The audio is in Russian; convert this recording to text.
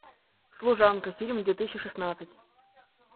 служанка фильм две тысячи шестнадцать